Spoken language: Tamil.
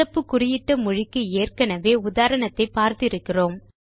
சிறப்பு குறியிட்ட மொழிக்கு ஏற்கெனெவே உதாரணத்தை பார்த்து இருக்கிறோம்